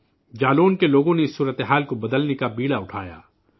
جالون کے لوگوں نے اس صورتحال کو تبدیل کرنے کا بیڑا بھی اٹھایا